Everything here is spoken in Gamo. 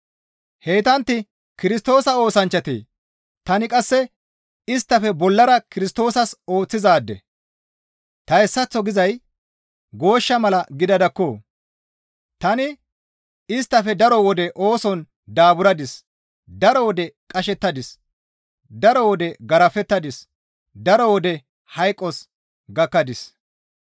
Heytantti Kirstoosa oosanchchatee? Tani qasse isttafe bollara Kirstoosas ooththizaade; ta hessaththo gizay gooshsha mala gidadakko! Tani isttafe daro wode ooson daaburadis; daro wode qashettadis; daro wode garafettadis; daro wode hayqos gakkadis.